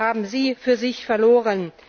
haben sie für sich verloren!